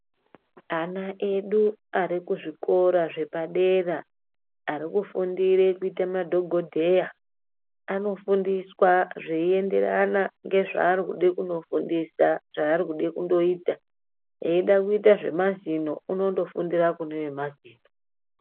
Ana edu ari kuzvikora zvepadera ari kufundire kuite madhogodheya anofundiswa zveinderana ngezvaari kude kunofundiswa zvaari kude kundoita. Eida kuite zvemazino unondofundira kune vemazino.